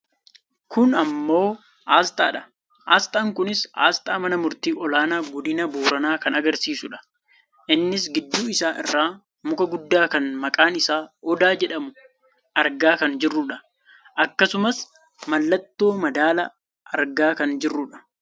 kun ammoo aasxaadha. aasxaan kunis aasxaa mana murtii olaanaa godina booranaa kan agarsiisudha. innis gidduu isaa irraa muka guddaa kan maqaan isaa Odaa jedhamu argaa kan jirrudha. akkasumas mallattoo madaalaa argaa kan jirrudha.